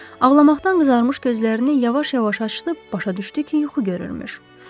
Ağlamaqdan qızarmış gözlərini yavaş-yavaş açdı, başa düşdü ki, yuxu görürmüş.